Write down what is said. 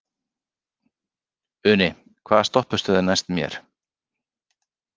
Uni, hvaða stoppistöð er næst mér?